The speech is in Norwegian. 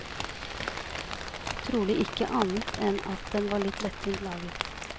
Trolig ikke annet enn at den var litt lettvint laget.